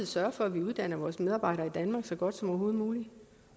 sørge for at vi uddanner vores medarbejdere i danmark så godt som overhovedet muligt